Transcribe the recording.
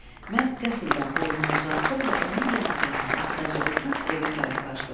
Mən qəfildən boynumu uzatdım və onun yanağından astaca öpüb evə tərəf qaçdım.